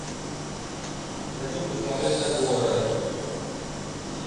хочу посмотреть